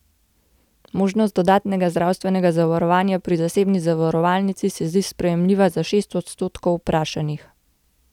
Možnost dodatnega zdravstvenega zavarovanja pri zasebni zavarovalnici se zdi sprejemljiva za šest odstotkov vprašanih.